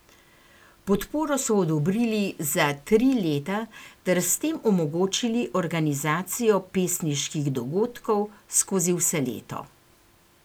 Podporo so odobrili za tri leta ter s tem omogočili organizacijo pesniških dogodkov skozi vse leto.